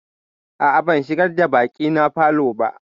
A'a, ban shigar da baƙina falo ba.